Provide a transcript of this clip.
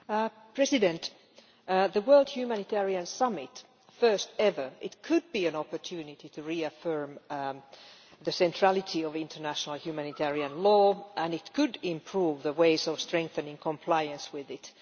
Madam President, the World Humanitarian Summit the first ever could be an opportunity to reaffirm the centrality of international humanitarian law and it could improve ways of strengthening compliance with it.